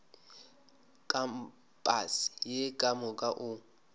kampase ye ka moka o